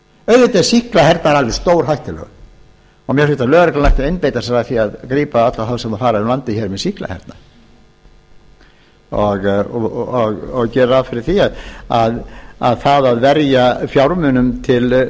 auðvitað er sýklahernaður alveg stórhættulegur og mér finnst að lögreglan ætti að einbeita sér að því að gripa alla þá sem fara úr landi með sýklahernað og gera ráð fyrir því að það að verja fjármunum